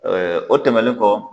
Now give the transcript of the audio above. o tɛmɛnen kɔ